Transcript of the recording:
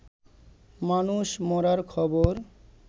মানুষ মরার খবর